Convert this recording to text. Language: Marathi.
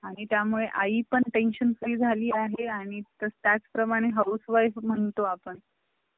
आणि त्या मुळे आई पण tension free झाली आहे आणि त्याच प्रमाणे housewife म्हणतो आपण